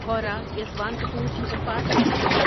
Howrah Yesvantpur superfast express